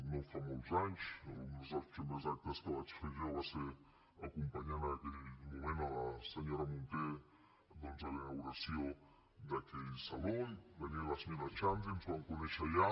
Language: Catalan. no fa molts anys alguns dels primers actes que vaig fer jo va ser acompanyar en aquell moment la senyora munté doncs a la inauguració d’aquell saló i venia la senyora xandri ens vam conèixer allà